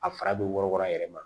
A fara bɛ wɔrɔkɔrɔn a yɛrɛ ma